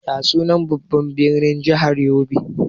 Ya sunan babban birnin jahar yobe?